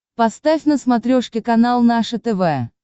поставь на смотрешке канал наше тв